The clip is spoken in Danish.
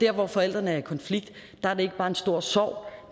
hvor forældrene er i konflikt er det ikke bare en stor sorg